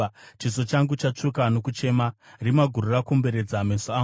Chiso changu chatsvuka nokuchema, rima guru rakomberedza meso angu;